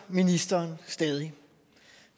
ministeren stadig